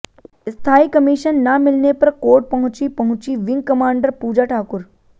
स्थायी कमीशन न मिलने पर कोर्ट पहुंचीं पहुंचीं विंग कमांडर पूजा ठाकुर